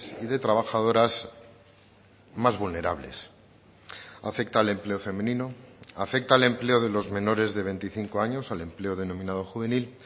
y de trabajadoras más vulnerables afecta al empleo femenino afecta al empleo de los menores de veinticinco años al empleo denominado juvenil